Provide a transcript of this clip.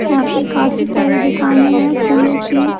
यहाँ पे काफी सारे दुकानें हैं फूलों की--